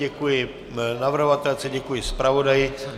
Děkuji navrhovatelce, děkuji zpravodaji.